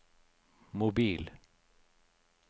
mobil